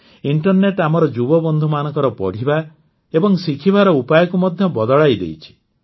internet ଆମର ଯୁବବନ୍ଧୁମାନଙ୍କର ପଢ଼ିବା ଏବଂ ଶିଖିବାର ଉପାୟକୁ ମଧ୍ୟ ବଦଳେଇଦେଇଛି